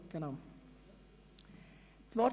Die Fraktionen haben das Wort.